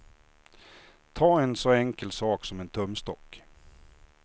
Ta en så enkel sak som en tumstock.